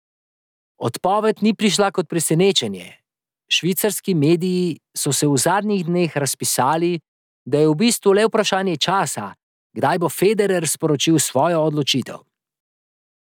Odpoved ni prišla kot presenečenje, švicarski mediji so se v zadnjih dneh razpisali, da je v bistvu le vprašanje časa, kdaj bo Federer sporočil svojo odločitev.